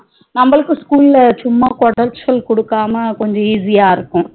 நம்மளுக்கும் school ல சும்மா கொடச்சல் கூடுக்காமா கொஞ்சம் easy யா இருக்கும்